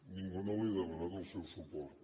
ningú no li ha demanat el seu suport